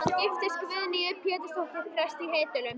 Hann giftist Guðnýju Pétursdóttur, prests í Heydölum.